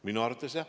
Minu arvates jah.